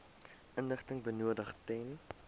inligting benodig ten